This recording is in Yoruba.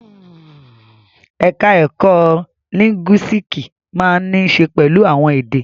Ẹ̀ka ẹ̀kó lìńgúísíìkì máa ń ní í ṣe pẹ̀lú àwọn èdè.